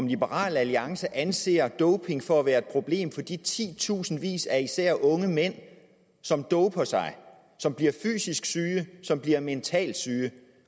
liberal alliance anser doping for at være et problem for de titusindvis af især unge mænd som doper sig som bliver fysisk syge som bliver mentalt syge